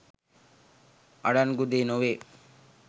අඩන්ගු දේ නොවේ.